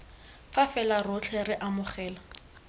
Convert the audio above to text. fa fela rotlhe re amogela